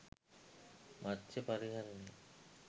මත්ස්‍ය පරිහරණය